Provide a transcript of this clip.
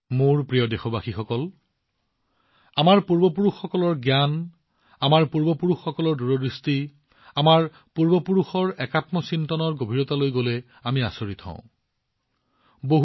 মোৰ মৰমৰ দেশবাসীসকল আমাৰ পূৰ্বপুৰুষসকলৰ জ্ঞান আমাৰ পূৰ্বপুৰুষসকলৰ দূৰদৃষ্টি আৰু আজিও আমাৰ পূৰ্বপুৰুষসকলৰ একাত্মচিন্তন কিমান গুৰুত্বপূৰ্ণ যেতিয়া আমি ইয়াৰ গভীৰতালৈ যাওঁ আমি আচৰিত হৈ পৰোঁ